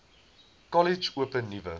kollege open nuwe